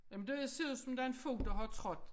Jamen det ser ud som om der er en fod der har trådt